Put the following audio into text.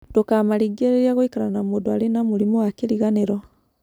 Ndũkamaringĩrĩrie gũikara na mũndũ arĩ na mũrimũ wa kĩriganĩro.